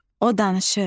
O danışır.